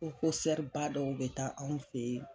Ko dɔw bɛ taa anw fɛ yen.